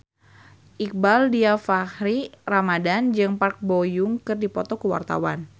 Iqbaal Dhiafakhri Ramadhan jeung Park Bo Yung keur dipoto ku wartawan